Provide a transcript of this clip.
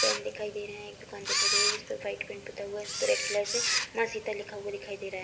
Fan दिखाई दे रहे है। एक दुकान दिखाई दे रही है जिस पर व्हाइट पेंट पुता हुआ उस पर रेड कलर से माँ सीता लिखा हुआ दिखाई दे रहा है।